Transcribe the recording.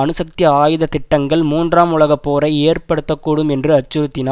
அணுசக்தி ஆயுத திட்டங்கள் மூன்றாம் உலக போரை ஏற்படுத்த கூடும் என்று அச்சுறுத்தினா